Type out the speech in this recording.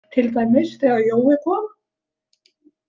Til dæmis þegar Jói kom.